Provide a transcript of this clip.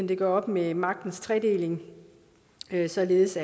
det gør op med magtens tredeling således